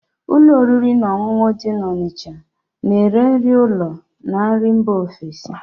Ụlọ oriri na ọṅụṅụ dị na Onicha na ere nri ụlọ na nri mba ofesi